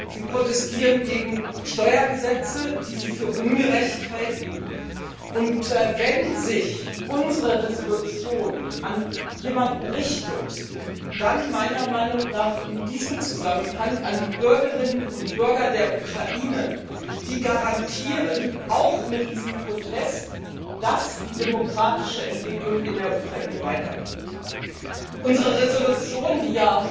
Sie protestieren gegen Steuergesetze, die sie für ungerecht halten. Wenn sich unsere Resolution an jemanden richtet, dann meiner Meinung nach in diesem Zusammenhang an die Bürgerinnen und Bürger der Ukraine, die auch mit diesem Protest garantieren, dass die demokratische Entwicklung in der Ukraine weitergeht. Unsere Resolution, die